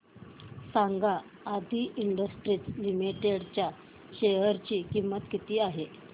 सांगा Adi industries limited च्या share ची किंमत किती आहे